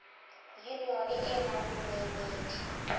yunione e nang le boemedi